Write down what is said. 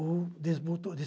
ou